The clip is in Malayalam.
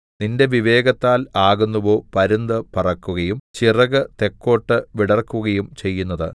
നിന്റെ വിവേകത്താൽ ആകുന്നുവോ പരുന്ത് പറക്കുകയും ചിറകു തെക്കോട്ട് വിടർക്കുകയും ചെയ്യുന്നതു